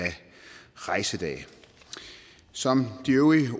rejsedage som de øvrige